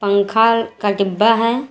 पंखा का डिब्बा है।